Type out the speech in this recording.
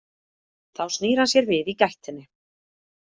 Þá snýr hann sér við í gættinni.